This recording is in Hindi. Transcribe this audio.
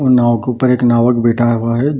और नाव के ऊपर एक नावक बैठा हुआ है ।